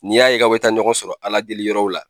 N'i y'a ye k'a bɛ taa ɲɔgɔn sɔrɔ Ala deli yɔrɔw la,